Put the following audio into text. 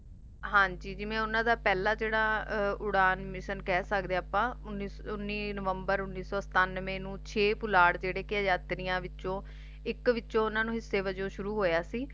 ਹਾਂਜੀ ਜਿਵੇਂ ਓਹਨਾ ਦਾ ਪਹਿਲਾ ਜਿਹੜਾ ਉਡਾਣ mission ਕਹਿ ਸਕਦੇ ਆ ਅਪਾ ਉੱਨੀ ਨਵੰਬਰ ਉੱਨੀ ਸੌ ਸਤਾਨਵੈ ਨੂੰ ਛੇ ਪੁਲਾੜ ਜਿਹੜੇ ਕੇ ਯਾਤਰੀਆ ਵਿੱਚੋ ਇੱਕ ਵਿੱਚੋ ਓਹਨਾ ਨੂੰ ਹਿੱਸਾ ਵਜੋਂ ਸ਼ੁਰੂ ਹੋਇਆ ਸੀ